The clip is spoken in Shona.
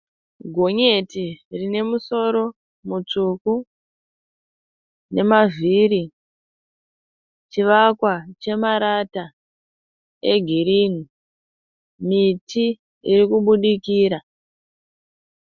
Gonyeti rinemusoro mutsvuku nemavhiri. Chivakwa chemarata egirinhi. Miti irikubudikira.